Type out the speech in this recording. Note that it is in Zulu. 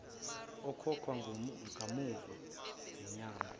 ukhokhwa kamuva zinyanga